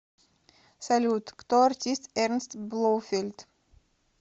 салют кто артист эрнст блоуфельд